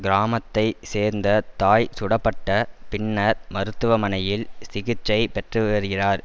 கிராமத்தை சேர்ந்த தாய் சுடப்பட்ட பின்னர் மருத்துவ மனையில் சிகிச்சை பெற்றுவருகிறார்